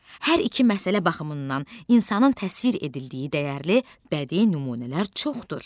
Hər iki məsələ baxımından insanın təsvir edildiyi dəyərli bədii nümunələr çoxdur.